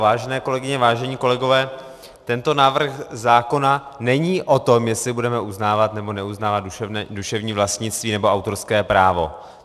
Vážené kolegyně, vážení kolegové, tento návrh zákona není o tom, jestli budeme uznávat nebo neuznávat duševní vlastnictví nebo autorské právo.